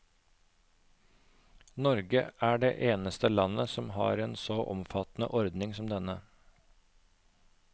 Norge er det eneste land som har en så omfattende ordning som denne.